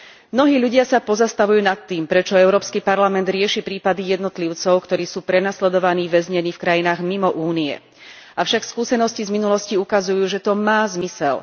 Mnohí ľudia sa pozastavujú nad tým, prečo Európsky parlament rieši prípady jednotlivcov, ktorí sú prenasledovaní, väznení v krajinách mimo Únie. Avšak skúsenosti z minulosti ukazujú, že to má zmysel.